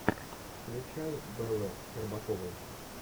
включай беллы щербаковой